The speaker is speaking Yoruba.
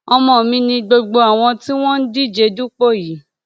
ọmọ mi ni gbogbo àwọn tí wọn ń díje dupò yìí